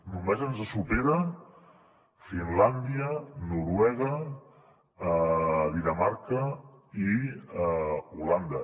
només ens superen finlàndia noruega dinamarca i holanda